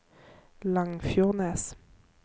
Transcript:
Langfjordnes